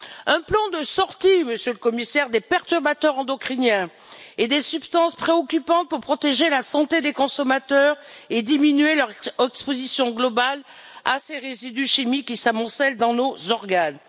Un plan de sortie, Monsieur le Commissaire, des perturbateurs endocriniens et des substances préoccupantes pour protéger la santé des consommateurs et diminuer leur exposition globale à ces résidus chimiques qui s'amoncellent dans nos organes.